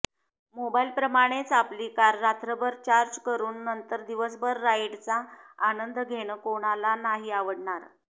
मोबाईलप्रमाणेच आपली कार रात्रभर चार्ज करून नंतर दिवसभर राईडचा आनंद घेणं कोणाला नाही आवडणार